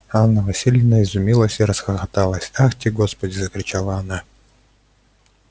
а анна власьевна изумилась и расхохоталась ахти господи закричала она